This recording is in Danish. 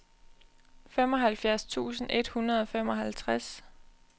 femoghalvfjerds tusind et hundrede og femoghalvtreds